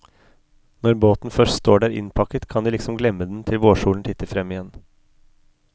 Når båten først står der innpakket, kan de liksom glemme den til vårsolen titter frem igjen.